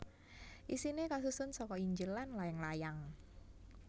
Isiné kasusun saka Injil lan layang layang